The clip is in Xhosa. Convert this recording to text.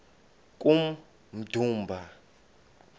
kummdumba